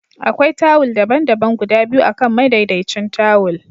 Akwai tawul daban-daban guda biyu akan madaidaicin tawul